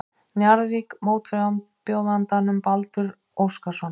Njarðvík mótframbjóðandann Baldur Óskarsson.